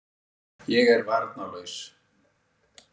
Ég er varnarlaus.